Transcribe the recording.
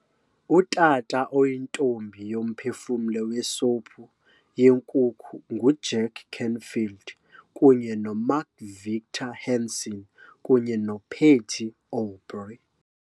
Utata oyiNtombi yoMphefumlo weSophu yenkukhu nguJack Canfield kunye noMark Victor Hansen kunye noPatty Aubery